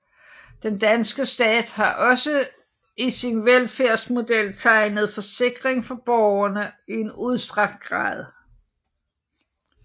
Den danske stat har også i sin velfærdsmodel tegnet forsikring for borgerne i en udstrakt grad